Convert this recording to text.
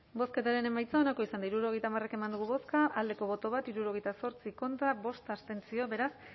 bozketaren emaitza onako izan da hirurogeita hamar eman dugu bozka bat boto alde hirurogeita zortzi contra bost abstentzio beraz